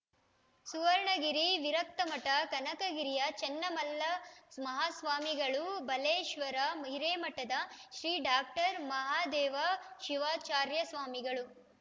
ಸುವರ್ಣಗಿರಿ ವಿರಕ್ತಮಠ ಕನಕಗಿರಿಯ ಶ್ರೀ ಚನ್ನಮಲ್ಲ ಮಾಹಾಸ್ವಾಮಿಗಳು ಬಲೇಶ್ವರ ಹಿರೇಮಠದ ಶ್ರೀ ಡಾಕ್ಟರ್ ಮಾಹಾದೇವ ಶಿವಾಚಾರ್ಯಸ್ವಾಮಿಗಳು